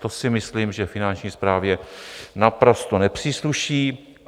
To si myslím, že Finanční správě naprosto nepřísluší.